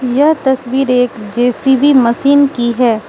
यह तस्वीर एक जे_सी_बी मशीन की है।